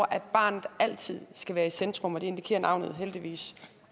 at barnet altid skal være i centrum det indikerer navnet heldigvis